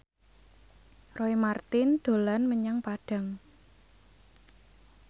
Roy Marten dolan menyang Padang